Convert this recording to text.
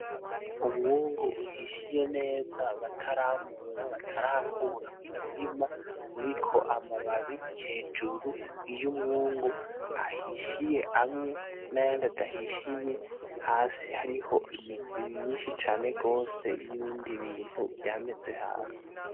Umwungu uhishiye neza bataramura batarakura mu mirima uriko amababi hejuru y'umwungu ahishiye amwe n'ayandi adahishiye, hasi hariho imizi myinshi cane gwose y'ibindi bintu vyameze hasi.